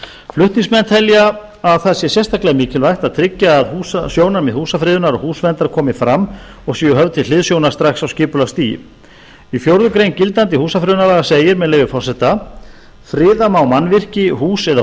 flutningsmenn telja að það sé sérstaklega mikilvægt til að tryggja að sjónarmið húsafriðunar og húsverndar komi fram og séu höfð til hliðsjónar strax á skipulagsstigi í fjórða grein gildandi húsafriðunarlaga segir friða má mannvirki hús eða